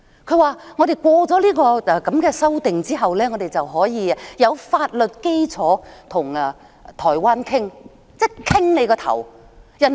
她說我們通過修例後，便可以有法律基礎跟台灣討論——討論個鬼？